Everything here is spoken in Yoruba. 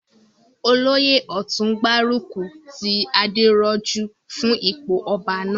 Olóyè ọ̀tún n gbárùkù ti Adérójú fún ipò ọba náà